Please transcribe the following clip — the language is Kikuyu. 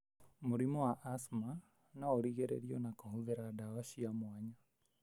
Mũrimũ wa asthma no ũrigĩrĩrio na kũhũthira ndawa cia mwanya.